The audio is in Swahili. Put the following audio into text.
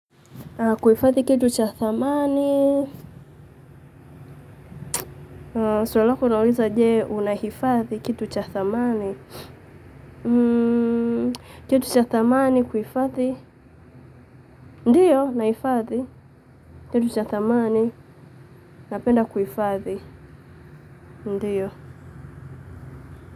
Kuhifadhi kitu cha dhamani. Swali lako linauliza je, unahifadhi kitu cha dhamani. Kitu cha dhamani kuhifadhi. Ndiyo, naifadhi. Kitu cha dhamani napenda kuhifadhi. Ndiyo.